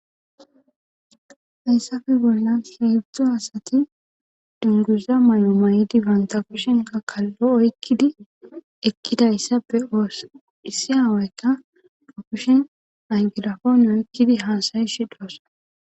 yssafe bolla siibzdzo asati dunguza may7o may7idi banta kushenka kallo oykkidi ekkida issafe oosa issi haaweykka akushen ay girafon oykkidi haasayi shi doossa